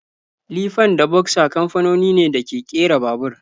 Lifan da boxer kamfanoni ne da ke kera babur.